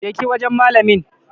Je ki wajan malamin